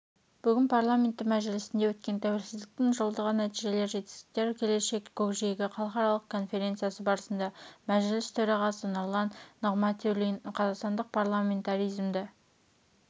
бүгін парламенті мәжілісінде өткен тәуелсіздіктің жылдығы нәтижелер жетістіктер келешек көкжиегі халықаралық конференциясы барысында мәжіліс төрағасы нұрлан нығматулин қазақстандық парламентаризмді